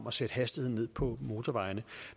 at sætte hastigheden ned på motorvejene